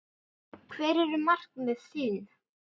Hver eru markmið þín?